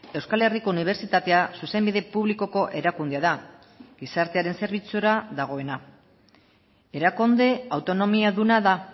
euskal herriko unibertsitatea zuzenbide publikoko erakundea da gizartearen zerbitzura dagoena erakunde autonomiaduna da